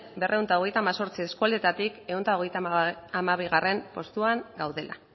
berrehun eta hemezortzi eskualdeetatik ehun eta hogeita hamabigarrena postuan gaudela